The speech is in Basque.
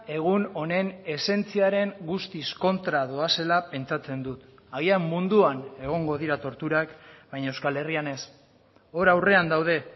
egun honen esentziaren guztiz kontra doazela pentsatzen dut agian munduan egongo dira torturak baina euskal herrian ez hor aurrean daude